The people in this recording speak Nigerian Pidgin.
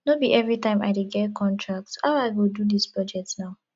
no be everytime i dey get contract how i go do dis budget now